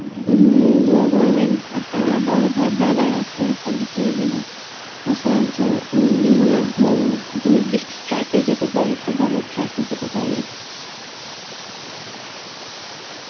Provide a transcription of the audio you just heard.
উম হম Hindi করবেন আপনারা বড় ভাই~ brother আসেন, আপনাদের থেকে যেন আশাজ্য নিয়ে ভালো একটা নির্দিষ্ট track এ যেতে পারি একটা ভালো track এ যেতে পারি